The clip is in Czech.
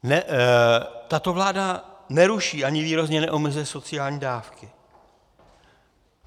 Tato vláda neruší ani výrazně neomezuje sociální dávky.